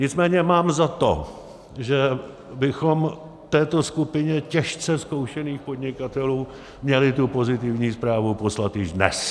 Nicméně mám za to, že bychom této skupině těžce zkoušených podnikatelů měli tu pozitivní zprávu poslat již dnes.